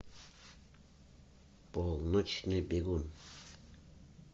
полночный бегун